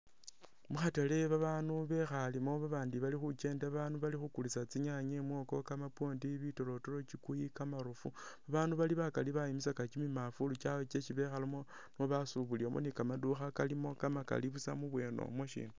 Mukhatale banu bekhalemo abandi bali khukyenda, bandu balikhukulisa tsinyaanye, kamapwondi, mwoko, bitoloto kyukuyu bandu bali bakaali bayimisaka kyimimanvulu kyabwe kyesi bekhalamo basubulilamo ni kamandukha kalimo kamakaali buusa mubwenomwo siina